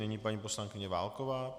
Nyní paní poslankyně Válková.